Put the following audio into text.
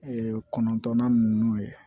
kɔnɔntɔnnan ninnu ye